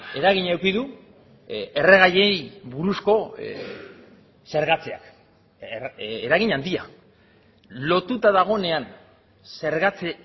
eragina eduki du erregaiei buruzko zergatzeak eragin handia lotuta dagoenean zergatze